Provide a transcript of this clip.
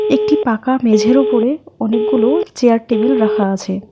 একটি পাকা মেঝের ওপরে অনেকগুলো চেয়ার টেবিল রাখা আছে।